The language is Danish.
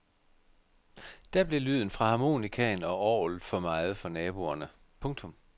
Da blev lyden fra harmonikaen og orglet for meget for naboerne. punktum